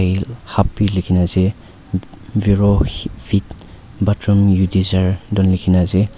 til hub bhi likhina ase verovit bathroom you diser do likhina ase.